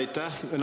Aitäh!